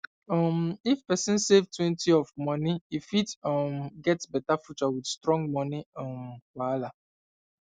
um if person savetwentyof moni e fit um get better future with strong money um wahala